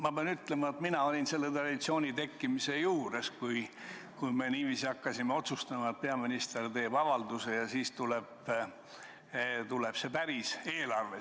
Ma pean ütlema, et mina olin selle traditsiooni tekkimise juures, kui me otsustasime, et peaminister teeb avalduse ja siis tuleb päris eelarve.